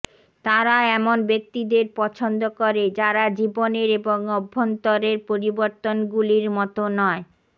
তারা এমন ব্যক্তিদের পছন্দ করে যারা জীবনের এবং অভ্যন্তরের পরিবর্তনগুলির মতো নয়